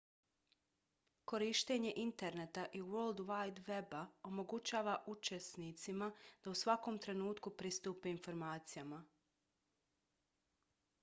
korištenje interneta i world wide weba omogućava učenicima da u svakom trenutku pristupe informacijama